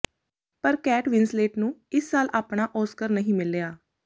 ਪਰ Kate Winslet ਨੂੰ ਇਸ ਸਾਲ ਆਪਣਾ ਓਸਕਰ ਨਹੀਂ ਮਿਲਿਆ